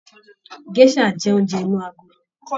Gèsà jẹ oúnjẹ inú agolo.